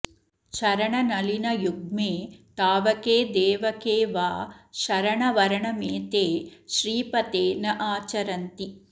चरणनलिनयुग्मे तावके देव के वा शरणवरणमेते श्रीपते नाचरन्ति